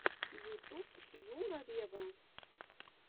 ютуб тьюга вево